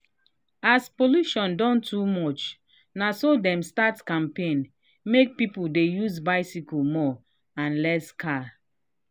as pollution don too much naso dem start campaign make people dey use bicycle more and less car.